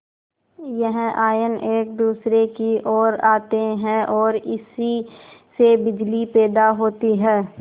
यह आयन एक दूसरे की ओर आते हैं ओर इसी से बिजली पैदा होती है